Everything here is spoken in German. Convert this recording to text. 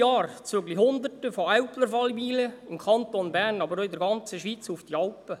Jedes Jahr ziehen Hunderte von Älplern alleweil im Kanton Bern, aber auch in der ganzen Schweiz, auf die Alpen.